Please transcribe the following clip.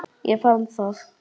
Ég fann það.